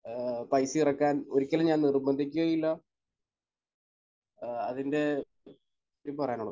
ഏഹ് പൈസയിറക്കാൻ ഒരിക്കലും ഞാൻ നിർബന്ധിക്കുകയുമില്ല ഏഹ് അതിന്റെ ഈ പറയുന്നതും